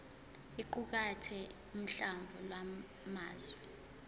iqukathe uhlamvu lwamazwi